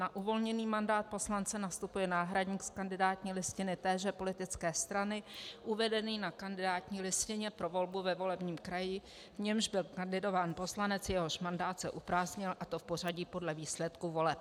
Na uvolněný mandát poslance nastupuje náhradník z kandidátní listiny téže politické strany uvedený na kandidátní listině pro volbu ve volebním kraji, v němž byl kandidován poslanec, jehož mandát se uprázdnil, a to v pořadí podle výsledků voleb.